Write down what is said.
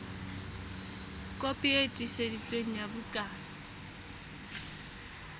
kopi e tiiseditsweng ya bukana